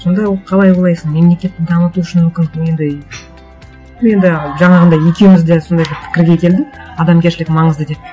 сонда ол қалай ойлайсың мемлекетті дамыту үшін мүмкін енді ну енді жаңағындай екеуіміз де сондай бір пікірге келдік адамгершілік маңызды деп